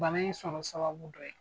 Bana in sɔrɔ sababu dɔ ye